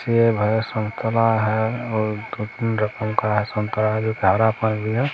सेब है संतरा है और दो-तीन रकम का संतरा पर भी है।